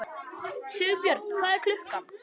Sigbjörn, hvað er klukkan?